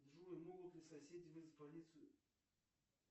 джой могут ли соседи вызвать полицию